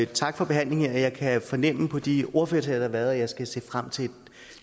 tak for behandlingen jeg kan fornemme på de ordførertaler været at jeg skal se frem til